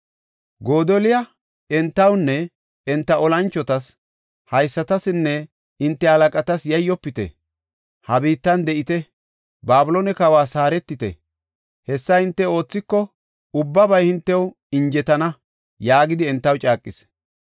Godoliya entawunne enta olanchotas “Haysatasinne enta halaqatas yayyofite. Ha biittan de7ite; Babiloone kawas haaretite; hessa hinte oothiko ubbabay hintew injetana” yaagidi entaw caaqis.